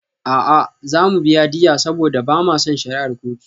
A'a, za mu biya diyya saboda ba ma son shari'ar kotu.